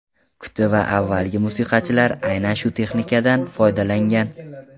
Kuti va avvalgi musiqachilar aynan shu texnikadan foydalangan.